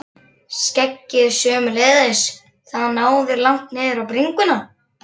Skeggið sömuleiðis, það náði langt niður á bringuna.